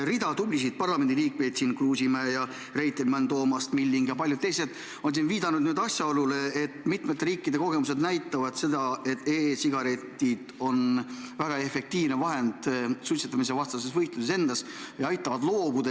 Rida tublisid parlamendiliikmeid – Kruusimäe, Reitelmann, Toomast, Milling ja paljud teised – on siin viidanud asjaolule, et mitme riigi kogemused näitavad seda, et e-sigaretid on väga efektiivne vahend suitsetamisvastases võitluses, need aitavad loobuda.